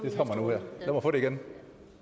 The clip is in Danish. kommer få det igen